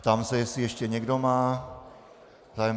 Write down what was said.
Ptám se, jestli ještě někdo má zájem.